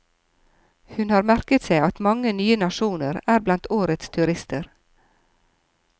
Hun har merket seg at mange nye nasjoner er blant årets turister.